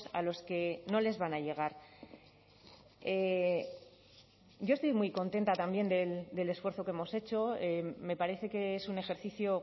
a los que no les van a llegar yo estoy muy contenta también del esfuerzo que hemos hecho me parece que es un ejercicio